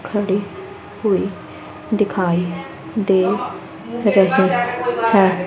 खड़ी हुई दिखाई दे रहे हैं।